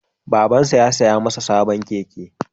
Babansa ya saya masa sabon keke